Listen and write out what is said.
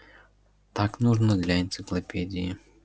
так нужно для энциклопедии